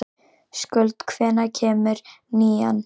Skuld, hvenær kemur nían?